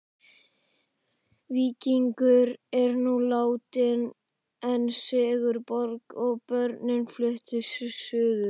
Víkingur er nú látinn en Sigurborg og börnin flutt suður.